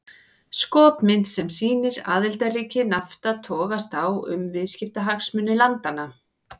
Skopmynd sem sýnir aðildarríki Nafta togast á um viðskiptahagsmuni landanna.